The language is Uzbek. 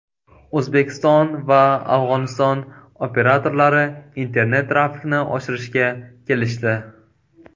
O‘zbekiston va Afg‘oniston operatorlari internet-trafikni oshirishga kelishdi.